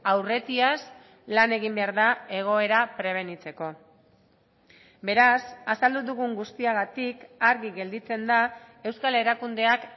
aurretiaz lan egin behar da egoera prebenitzeko beraz azaldu dugun guztiagatik argi gelditzen da euskal erakundeak